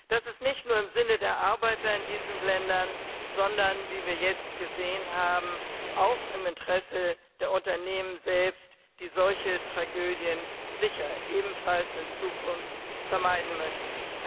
Das ist nicht nur im Sinne der Arbeiter in diesen Ländern, sondern wie wir jetzt gesehen haben auch im Interesse der Unternehmen selbst, die solche Tragödien sicher ebenfalls in Zukunft vermeiden möchten.